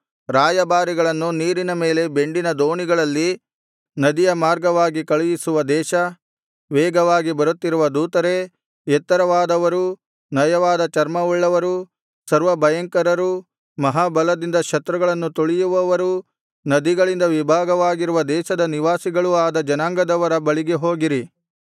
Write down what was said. ರಾಯಭಾರಿಗಳನ್ನು ನೀರಿನ ಮೇಲೆ ಬೆಂಡಿನ ದೋಣಿಗಳಲ್ಲಿ ನದಿಯ ಮಾರ್ಗವಾಗಿ ಕಳುಹಿಸುವ ದೇಶ ವೇಗವಾಗಿ ಬರುತ್ತಿರುವ ದೂತರೇ ಎತ್ತರವಾದವರೂ ನಯವಾದ ಚರ್ಮವುಳ್ಳವರೂ ಸರ್ವ ಭಯಂಕರರೂ ಮಹಾ ಬಲದಿಂದ ಶತ್ರುಗಳನ್ನು ತುಳಿಯುವವರೂ ನದಿಗಳಿಂದ ವಿಭಾಗವಾಗಿರುವ ದೇಶದ ನಿವಾಸಿಗಳೂ ಆದ ಜನಾಂಗದವರ ಬಳಿಗೆ ಹೋಗಿರಿ